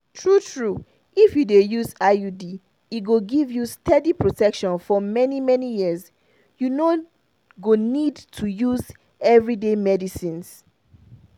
true-true if you dey use iud e go give you steady protection for many-many years. you no go need to use everyday medicines.